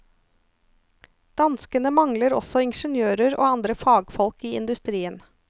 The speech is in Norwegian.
Danskene mangler også ingeniører og andre fagfolk i industrien.